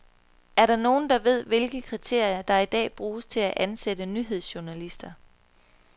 Er der nogen, der ved, hvilke kriterier der i dag bruges til at ansætte nyhedsjournalister.